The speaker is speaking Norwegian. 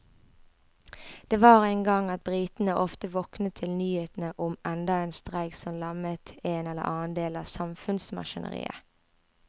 Det var en gang at britene ofte våknet til nyhetene om enda en streik som lammet en eller annen del av samfunnsmaskineriet.